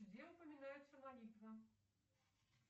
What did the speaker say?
где упоминается молитва